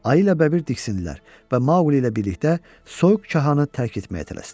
Ayı ilə Bəbir diksindilər və Maqli ilə birlikdə soyuq Cahanı tərk etməyə tələsdilər.